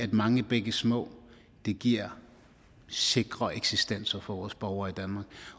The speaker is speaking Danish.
mange bække små giver sikrere eksistenser for vores borgere i danmark